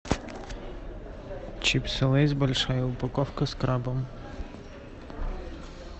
чипсы лейс большая упаковка с крабом